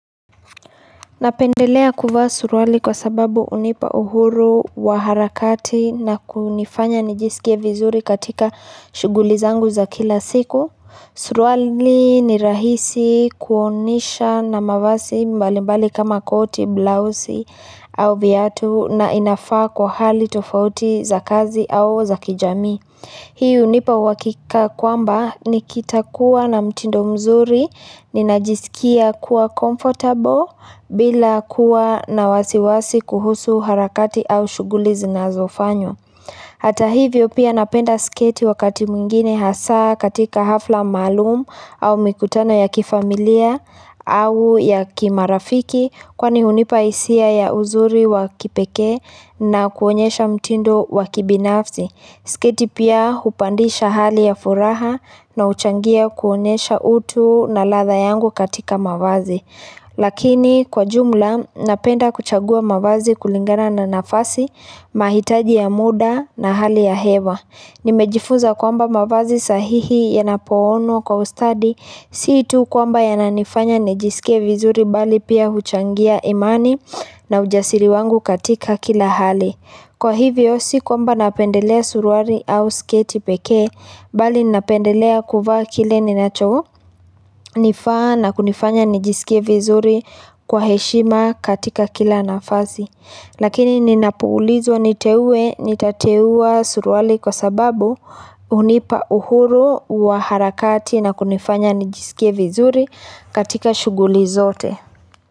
Napendelea kuvaa suruali kwa sababu unipa uhuru wa harakati na kunifanya nijisikia vizuri katika shughuli zangu za kila siku. Suruali ni rahisi kuoanisha na mavazi mbali mbali kama koti, blauzi au viatu na inafaa kwa hali tofauti za kazi au za kijami. Hii unipa uhakika kwamba nikita kuwa na mtindo mzuri, ni najisikia kuwa comfortable bila kuwa na wasiwasi kuhusu harakati au shughuli zinazofanya. Hata hivyo pia napenda sketi wakati mwingine hasa katika hafla malumu au mikutano ya kifamilia au ya kimarafiki kwa ni hunipa hisia ya uzuri wakipekee na kuonesha mtindo wakibinafsi. Siketi pia upandisha hali ya furaha na uchangia kuonesha utu na ladha yangu katika mavazi. Lakini kwa jumla napenda kuchagua mavazi kulingana na nafasi, mahitaji ya muda na hali ya hewa. Nimejifuza kwamba mavazi sahihi ya yanapoonwa kwa ustadi, siitu kwamba ya nanifanya nijisikia vizuri bali pia uchangia imani na ujasiri wangu katika kila hali. Kwa hivyo si kwamba napendelea suruali au sketi pekee bali napendelea kuvaa kile ninacho nifaa na kunifanya nijisikie vizuri kwa heshima katika kila nafasi. Lakini ninapuulizwa niteue nitateua suruali kwa sababu hunipa uhuru wa harakati na kunifanya nijisikie vizuri katika shughuli zote.